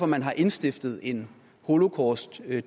man har indstiftet en holocaustdag